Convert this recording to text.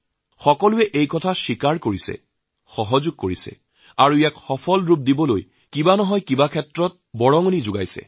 সকলোৱে এইটো স্বীকাৰ কৰে সহায় কৰে আৰু ইয়াৰ সাফল্যৰ বাবে কিবা নহয় কিবা ধৰণে সহায় কৰে